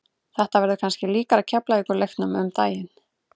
Þetta verður kannski líkara Keflavíkur leiknum um daginn.